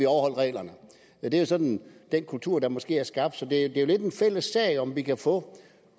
overholdt reglerne det er sådan den kultur der måske er skabt så det er jo lidt en fælles sag om vi kan få